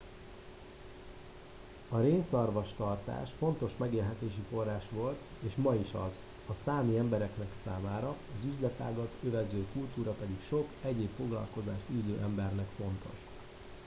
a rénszarvastartás fontos megélhetési forrás volt és ma is az a számi emberek számára az üzletágat övező kultúra pedig sok egyéb foglalkozást űző embernek fontos